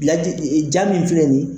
Laji ee ja min filɛ nin ye